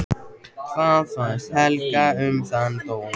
Hvað fannst Helga um þann dóm?